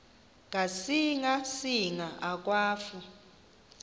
ngasinga singa akwafu